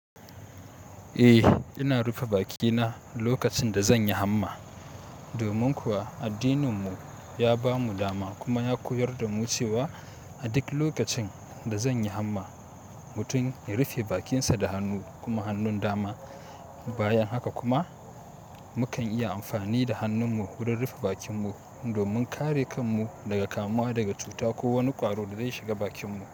Eh, ina rufe bakina lokacin da zan yi hamma. Domin kuwa addininmu ya bamu dama kuma ya koyar damu cewa a duk lokacin da zan yi hamma, mutum ya rufe bakinsa da hannu kuma hannun dama. Bayan haka kuma mukan iya amfani da hannunmu wurin rufe bakinmu domin kare kanmu daga kamuwa daga cuta ko wani ƙwaro da zai shiga bakinmu.